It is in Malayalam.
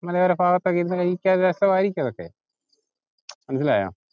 മലയോര ഭാഗത്തൊക്കെ ഇരുന്നു കഴിക്കാൻ ഒരു രസമായിരിക്കും അതൊക്കെ, മനസ്സിലായോ?